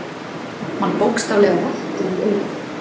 Mann bókstaflega verkjar í eyrun.